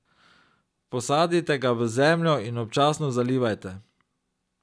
Posadite ga v zemljo in občasno zalivajte.